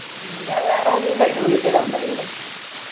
ഹും ഞാൻ വേറെ ഇതിന്ന് അല്ലെ വിളിച്ചേ number ന്നു.